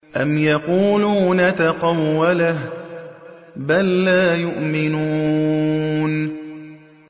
أَمْ يَقُولُونَ تَقَوَّلَهُ ۚ بَل لَّا يُؤْمِنُونَ